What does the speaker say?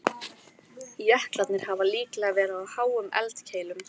Jöklarnir hafa líklega verið á háum eldkeilum.